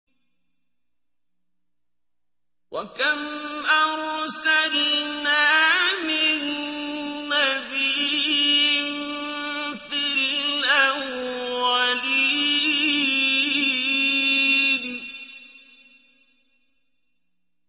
وَكَمْ أَرْسَلْنَا مِن نَّبِيٍّ فِي الْأَوَّلِينَ